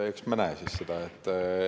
Eks me näe siis seda.